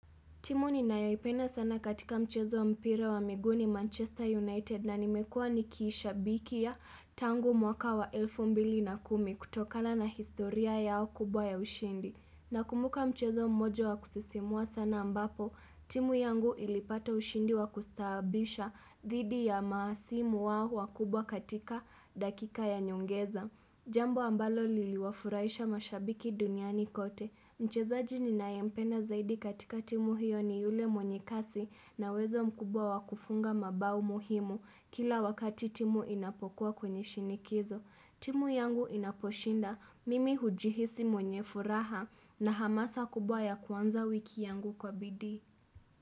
Timu ninayoipena sana katika mchezo mpira wa miguu ni Manchester United na nimekuwa nikiishabikia tangu mwaka wa elfu mbili na kumi, kutokana na historia yao kubwa ya ushindi. Nakumbuka mchezo mmojo wa kusisimua sana ambapo, timu yangu ilipata ushindi wa kustaabisha dhidi ya mahasimu wao wakubwa katika dakika ya nyongeza. Jambo ambalo liliwafurahisha mashabiki duniani kote. Mchezaji ninayempenda zaidi katika timu hiyo ni yule mwenye kasi na uwezo mkubwa wakufunga mabao muhimu kila wakati timu inapokuwa kwenye shinikizo. Timu yangu inaposhinda, mimi hujihisi mwenye furaha na hamasa kubwa ya kuanza wiki yangu kwa bidii.